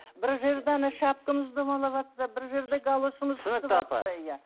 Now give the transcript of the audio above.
бір жерде шапкамыз домалаватса бір жерде галошымыз түсінікті апа иә